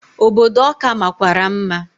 Obodo Ọka makwara mma.